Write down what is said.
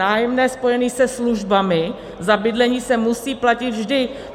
Nájemné spojené se službami za bydlení se musí platit vždy.